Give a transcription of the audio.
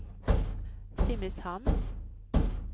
Simrishamn